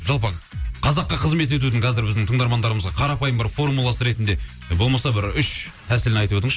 жалпы қазаққа қызмет етудің қазір біздің тыңдармандарымызға қарапайым бір формуласы ретінде болмаса бір үш тәсілін айтып өтіңізші